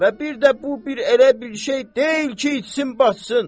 Və bir də bu bir elə bir şey deyil ki, itsin, batsın.